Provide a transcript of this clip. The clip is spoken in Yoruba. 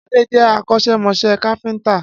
Ade jẹ́ akọ́ṣẹ́mọṣẹ́ káfíńtà